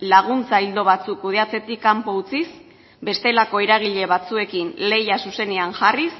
laguntza ildo batzuk kudeatzetik kanpo utziz bestelako eragile batzuekin lehia zuzenean jarriz